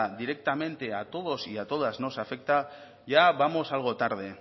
directamente a todos y a todas nos afecta ya vamos algo tarde